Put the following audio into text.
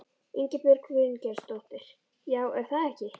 Ingibjörg Bryngeirsdóttir: Já, er það ekki?